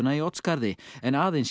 í Oddsskarði en aðeins í